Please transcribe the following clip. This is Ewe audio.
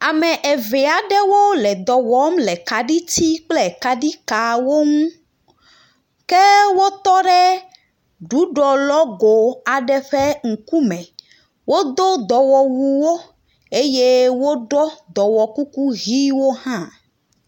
Ame eve aɖewo le dɔ wɔm le kaɖiti kple kaɖi kawo ŋu, ke wotɔ ɖe ɖuɖɔlɔgo aɖe ŋkume, wodo dɔwɔwuwo eye woɖɔ dɔwɔkuku ʋɛ̃wo hã.